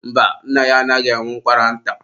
mba, nna ya anaghị enwe ụkwara nta.